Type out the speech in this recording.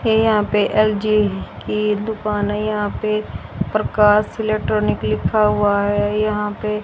ये यहां पे एल_जी की दुकान है यहां पे प्रकाश इलेक्ट्रॉनिक लिखा हुआ है यहां पे--